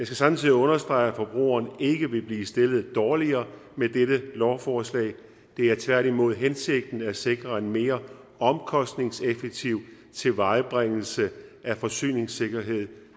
samtidig understrege at forbrugerne ikke vil blive stillet dårligere med dette lovforslag det er tværtimod hensigten at sikre en mere omkostningseffektiv tilvejebringelse af forsyningssikkerhed